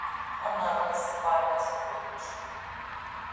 анамнез память подключи